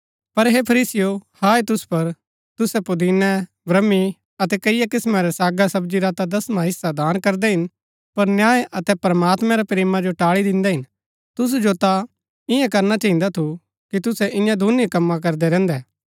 पर हे फरीसीयों हाय तुसु पुर तुसै पुदीने ब्रह्‌मी अतै कईआ किस्‍मां रै सागा सब्जी रा ता दसवां हिस्सा दान करदै हिन पर न्याय अतै प्रमात्मैं रै प्रेमा जो टाळी दिन्दै हिन तुसु जो ता ईयां करना चहिन्दा थू कि तुसै ईयां दुनीं कमां करदै रैहन्दै